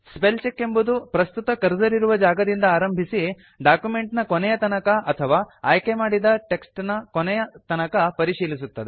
spell check ಎಂಬುದು ಪ್ರಸ್ತುತ cursor ಇರುವ ಜಾಗದಿಂದ ಆರಂಭಿಸಿ ಡಾಕ್ಯುಮೆಂಟ್ ನ ಕೊನೆಯ ತನಕ ಅಥವಾ ಆಯ್ಕೆ ಮಾಡಿದ ಟೆಕ್ಸ್ಟ್ ನ ಕೊನೆಯ ತನಕ ಪರಿಶೀಲಿಸುತ್ತದೆ